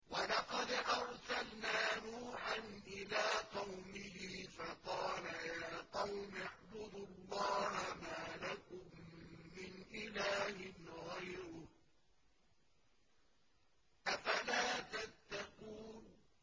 وَلَقَدْ أَرْسَلْنَا نُوحًا إِلَىٰ قَوْمِهِ فَقَالَ يَا قَوْمِ اعْبُدُوا اللَّهَ مَا لَكُم مِّنْ إِلَٰهٍ غَيْرُهُ ۖ أَفَلَا تَتَّقُونَ